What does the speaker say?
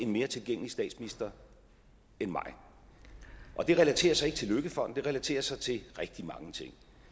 mere tilgængelig statsminister end mig og det relaterer sig ikke til løkkefonden det relaterer sig til rigtig mange ting